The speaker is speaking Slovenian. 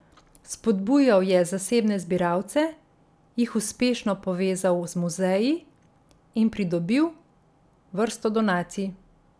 Spodbujal je zasebne zbiralce, jih uspešno povezal z muzeji in pridobil vrsto donacij.